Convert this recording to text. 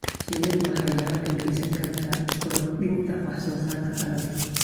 Shinnidu waxay gacan ka geysan kartaa kordhinta wax soo saarka dalagga.